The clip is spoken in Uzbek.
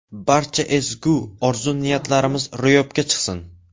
Barcha ezgu orzu-niyatlarimiz ro‘yobga chiqsin!